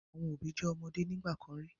Àwọn òbí jẹ́ ọmọde nígbà kan rí.